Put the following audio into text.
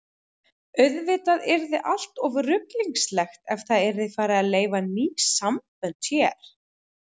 Auðvitað yrði allt of ruglingslegt ef það yrði farið að leyfa ný sambönd hér.